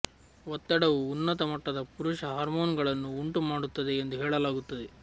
ಒತ್ತಡವು ಉನ್ನತ ಮಟ್ಟದ ಪುರುಷ ಹಾರ್ಮೋನುಗಳನ್ನು ಉಂಟು ಮಾಡುತ್ತದೆ ಎಂದು ಹೇಳಲಾಗುತ್ತದೆ